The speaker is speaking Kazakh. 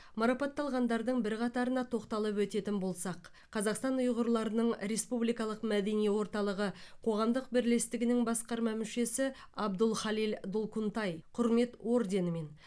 марапатталғандардың бірқатарына тоқталып өтетін болсақ қазақстан ұйғырларының республикалық мәдени орталығы қоғамдық бірлестігінің басқарма мүшесі абдулхалил долкунтай құрмет орденімен